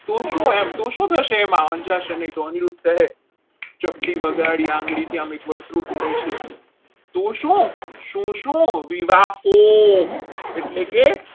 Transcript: તો શું એમ તો શું થશે એમ આ અંજાર છે નહીં તો અનિરુદ્ધ કહે ચપટી વગાડી આંગળીથી એકવાર ધૂળ ધૂળે છે તો શું શું વિવા રોગ એટલે કે